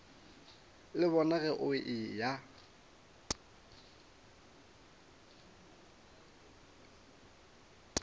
le bona ge o eya